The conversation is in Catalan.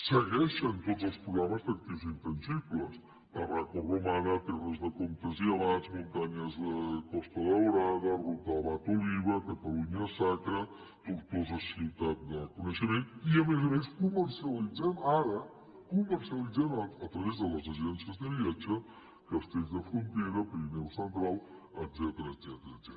segueixen tots els programes d’actius intangibles tarraco romana terra de comtes i abats muntanyes de costa daurada ruta abad oliba catalunya sacra tortosa ciutat del renaixement i a més a més comercialitzem ara comercialitzem a través de les agències de viatges castells de frontera pirineu central etcètera